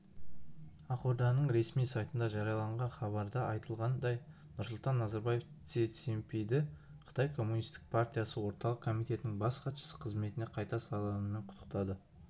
ақорданың ресми сайтында жарияланған хабарда айтылғандай нұрсұлтан назарбаев си цзиньпинді қытай коммунистік партиясы орталық комитетінің бас хатшысы қызметіне қайта сайлануымен құттықтады